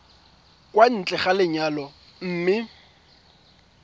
kwa ntle ga lenyalo mme